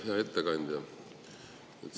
Hea ettekandja!